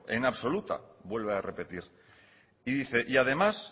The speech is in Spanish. en absoluta vuelve a repetir y además